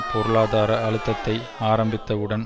பொருளாதார அழுத்தத்தை ஆரம்பித்தவுடன்